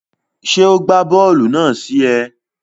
Ṣe o gba bóòlù náà sí é?